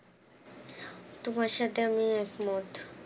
তোমার সাথে আমি একমত